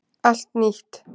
Allt nýtt